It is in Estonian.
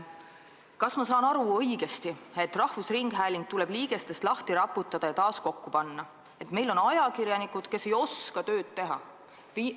Kas ma saan õigesti aru, et rahvusringhääling tuleb liigestest lahti raputada ja taas kokku panna, et meil on ajakirjanikud, kes ei oska tööd teha?